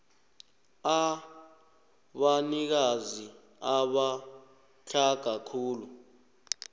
abanikazi abatlhaga khulu